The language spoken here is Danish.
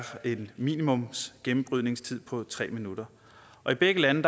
en minimumsgennembrydningstid på tre minutter og i begge lande